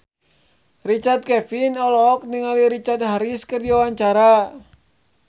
Richard Kevin olohok ningali Richard Harris keur diwawancara